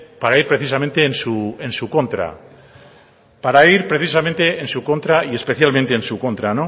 para ir precisamente en su contra para ir precisamente en su contra y especialmente en su contra